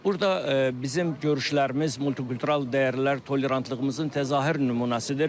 Burda bizim görüşlərimiz multikultural dəyərlər, tolerantlığımızın təzahür nümunəsidir.